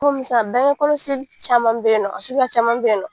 Komi sisan bangekɔlɔsi caman bɛyennɔ a sukuya caman bɛyennɔ.